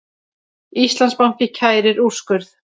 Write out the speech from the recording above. Íslandsbanki kærir úrskurð